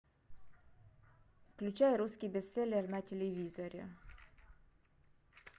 включай русский бестселлер на телевизоре